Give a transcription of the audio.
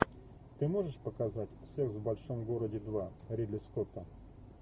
ты можешь показать секс в большом городе два ридли скотта